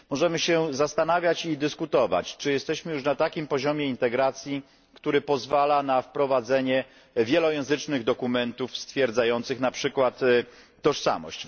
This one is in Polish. Możemy się zastanawiać i dyskutować, czy jesteśmy już na takim poziomie integracji, który pozwala na wprowadzenie wielojęzycznych dokumentów stwierdzających na przykład tożsamość.